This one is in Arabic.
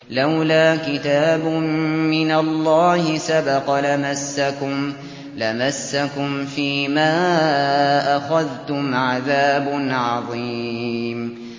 لَّوْلَا كِتَابٌ مِّنَ اللَّهِ سَبَقَ لَمَسَّكُمْ فِيمَا أَخَذْتُمْ عَذَابٌ عَظِيمٌ